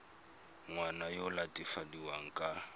ngwana yo o latofadiwang ka